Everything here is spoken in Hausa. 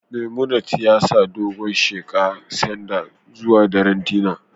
Memunant ya sa dogon sheqa Sander zuwa daren dinner